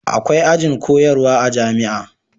akwai ajin koyarwa a jami'a